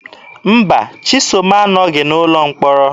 Mba, Chisom anọghị n'ụlọ mkpọrọ.